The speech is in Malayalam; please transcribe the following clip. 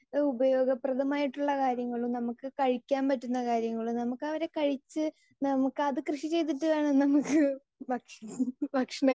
സ്പീക്കർ 2 ഉപയോഗപ്രദമായിട്ടുള്ള കാര്യങ്ങൾ നമുക്ക് കഴിക്കാൻ പറ്റുന്ന കാര്യങ്ങൾ നമുക്ക് അവരെ കഴിച്ച് നമുക്ക് അത് കൃഷി ചെയ്തിട്ട് വേണം നമുക്ക് ഭക്ഷണം ഭക്ഷണം